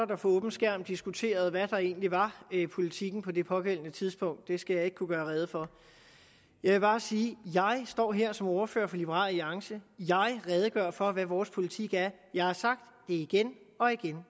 der for åben skærm diskuterede hvad der egentlig var politikken på det pågældende tidspunkt det skal jeg ikke kunne gøre rede for jeg vil bare sige at jeg står her som ordfører for liberal alliance jeg redegør for hvad vores politik er jeg har sagt det igen og igen